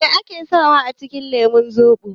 Me ake sawa a cikin lemun zobo?